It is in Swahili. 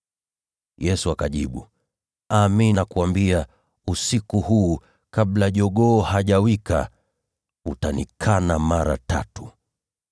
Yesu akamjibu, “Amin, nakuambia, usiku huu, kabla jogoo hajawika, utanikana mara tatu.”